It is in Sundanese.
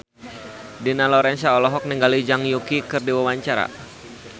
Dina Lorenza olohok ningali Zhang Yuqi keur diwawancara